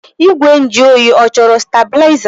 Igwe nju oyi ọ chọrọ steblaịza?